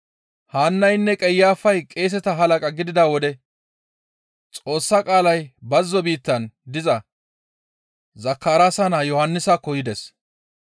Haannaynne Qayafay qeeseta halaqa gidida wode Xoossa qaalay bazzo biittan diza Zakaraasa naa Yohannisakko yides.